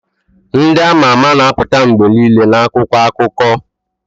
Ndị a ma ama na-apụta mgbe niile na akwụkwọ akụkọ